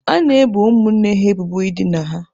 A na-ebo ụmụnne ha ebubo idina ha.